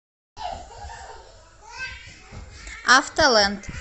авто ленд